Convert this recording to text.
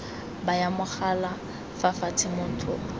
baya mogala fa fatshe motho